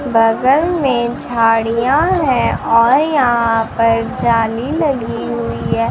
बगल में झाड़ियां है और यहां पर जाली लगी हुई है।